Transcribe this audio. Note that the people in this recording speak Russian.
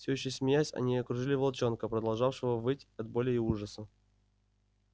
всё ещё смеясь они окружили волчонка продолжавшего выть от боли и ужаса